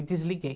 E desliguei.